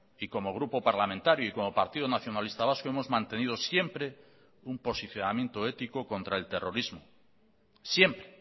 y como grupo parlamentario y como partido nacionalista vasco hemos mantenido siempre un posicionamiento ético contra el terrorismo siempre